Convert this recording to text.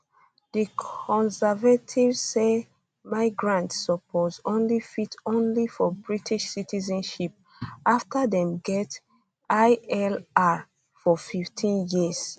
di conservatives say migrants suppose only fit apply for british citizenship afta dem get ilr for 15 years